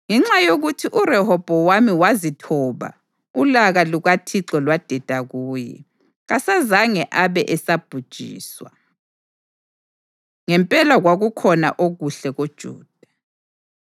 Ngenxa yokuthi uRehobhowami wazithoba, ulaka lukaThixo lwadeda kuye, kasazange abe esabhujiswa. Ngempela kwakukhona okuhle koJuda.